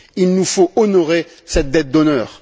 Il nous faut honorer cette dette d'honneur.